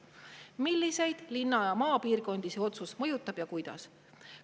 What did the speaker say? Milliseid linna‑ ja maapiirkondi see otsus mõjutab ja kuidas?